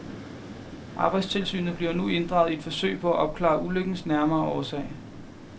Arbejdstilsynet bliver nu inddraget i et forsøg på at opklare ulykkens nærmere årsag.